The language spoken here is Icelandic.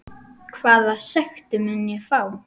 Hvaða sekt mun ég fá?